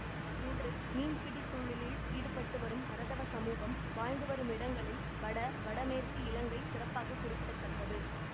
இன்று மீன்பிடி தொழிலில் ஈடுபட்டுவரும் பரதவ சமூகம் வாழ்ந்து வரும் இடங்களில் வட வடமேற்கு இலங்கை சிறப்பாக குறிப்பிட தக்கது